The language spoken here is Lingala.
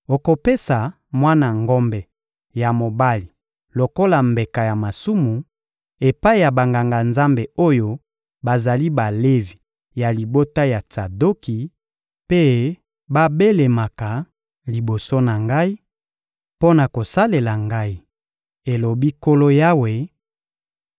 Okopesa mwana ngombe ya mobali lokola mbeka ya masumu epai ya Banganga-Nzambe oyo bazali Balevi ya libota ya Tsadoki mpe babelemaka liboso na Ngai mpo na kosalela Ngai, elobi Nkolo Yawe;